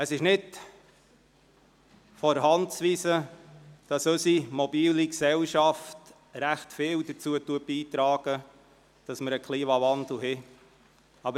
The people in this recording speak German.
Es ist nicht von der Hand zu weisen, dass unsere mobile Gesellschaft viel dazu beiträgt, dass wir einen Klimawandel haben.